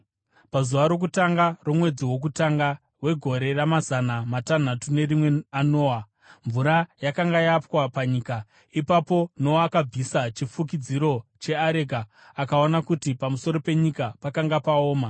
Pazuva rokutanga romwedzi wokutanga wegore ramazana matanhatu nerimwe aNoa, mvura yakanga yapwa panyika. Ipapo Noa akabvisa chifukidziro cheareka akaona kuti pamusoro penyika pakanga paoma.